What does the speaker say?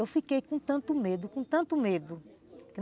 Eu fiquei com tanto medo, com tanto medo.